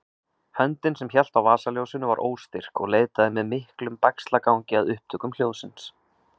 Höndin sem hélt á vasaljósinu var óstyrk og leitaði með miklum bægslagangi að upptökum hljóðsins.